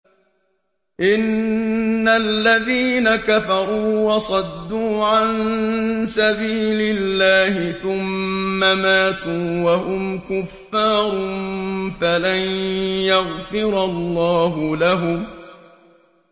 إِنَّ الَّذِينَ كَفَرُوا وَصَدُّوا عَن سَبِيلِ اللَّهِ ثُمَّ مَاتُوا وَهُمْ كُفَّارٌ فَلَن يَغْفِرَ اللَّهُ لَهُمْ